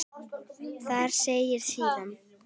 Þar segir síðan